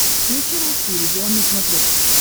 включи русский иллюзион на смотрешке